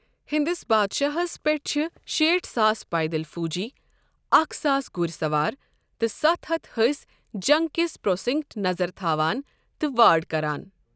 یِہنٛدِس بادشاہس پٮ۪ٹھ چھِ شیٖٹھ ساس پیدل فوجی، اکھ ساس گُرۍ سوار، تہٕ ستھ ہتھ حٔسۍ'جنگ کِس پروسنکٹ' نظر تھاوان تہٕ وارڑ کران۔